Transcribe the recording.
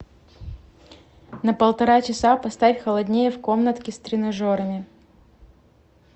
на полтора часа поставь холоднее в комнатке с тренажерами